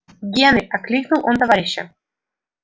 генри окликнул он товарища